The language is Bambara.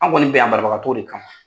An kɔni bɛ yan banabagatɔw de kama.